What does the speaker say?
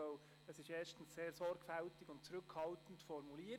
Denn er ist sehr sorgfältig und zurückhaltend formuliert.